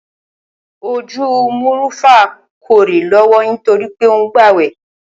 Ojú Mò̩rúfá kó̩ré̩ ló̩wó̩ nítorí pé ó ń gbàwè̩